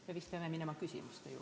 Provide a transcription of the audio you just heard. Me vist peame minema küsimuste juurde?